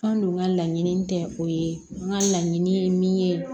An dun ka laɲini tɛ o ye n ka laɲini ye min ye